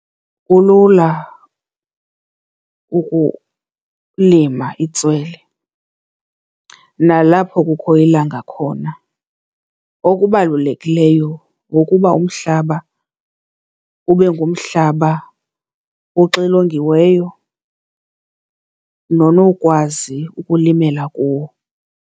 Kulula ukulima itswele nalapho kukho ilanga khona. Okubalulekileyo kukuba umhlaba ube ngumhlaba oxilongiweyo nonowukwazi ukulimela kuwo.